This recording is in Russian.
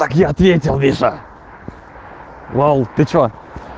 так я ответил миша лол ты что